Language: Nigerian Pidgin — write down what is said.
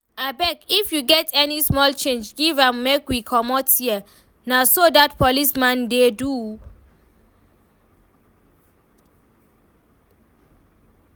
Abeg if you get any small change give am make we comot here, na so dat policeman dey do